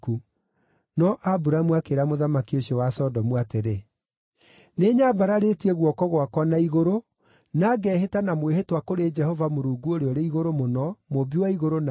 No Aburamu akĩĩra mũthamaki ũcio wa Sodomu atĩrĩ, “Nĩnyambararĩtie guoko gwakwa na igũrũ na ngehĩta na mwĩhĩtwa kũrĩ Jehova Mũrungu Ũrĩa-ũrĩ-Igũrũ-Mũno, Mũmbi wa igũrũ na thĩ,